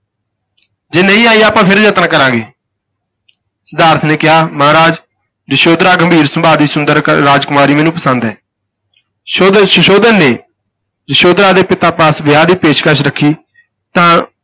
ਜੇ ਨਹੀਂ ਆਈ ਆਪਾਂ ਫਿਰ ਯਤਨ ਕਰਾਂਗੇ ਸਿਧਾਰਥ ਨੇ ਕਿਹਾ, ਮਹਾਰਾਜ ਯਸ਼ੋਧਰਾ ਗੰਭੀਰ ਸੁਭਾਅ ਦੀ ਸੁੰਦਰ ਰਾਜ ਕੁਮਾਰੀ ਮੈਨੂੰ ਪਸੰਦ ਹੈ, ਸੋਧਨ ਸੁਧੋਧਨ ਨੇ ਯਸ਼ੋਧਰਾ ਦੇ ਪਿਤਾ ਪਾਸ ਵਿਆਹ ਦੀ ਪੇਸ਼ਕਸ ਰੱਖੀ ਤਾਂ